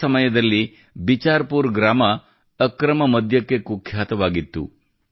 ಆ ಸಮಯದಲ್ಲಿ ಬಿಚಾರ್ ಪೂರ್ ಗ್ರಾಮ ಅಕ್ರಮ ಮದ್ಯಕ್ಕೆ ಕುಖ್ಯಾತವಾಗಿತ್ತು